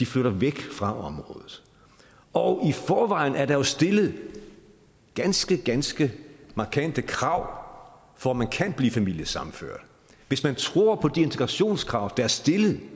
flytter væk fra området og i forvejen er der jo stillet ganske ganske markante krav for at man kan blive familiesammenført hvis man tror på de integrationskrav der er stillet